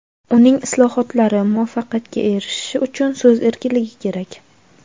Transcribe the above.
uning islohotlari muvaffaqiyatga erishishi uchun so‘z erkinligi kerak.